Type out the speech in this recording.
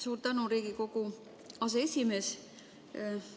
Suur tänu, Riigikogu aseesimees!